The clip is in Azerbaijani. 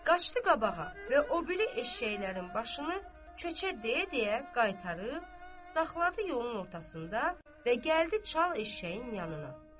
Qaçdı qabağa və o biri eşşəklərin başını köçə deyə-deyə qaytarıb saxladı yolun ortasında və gəldi çal eşşəyin yanına.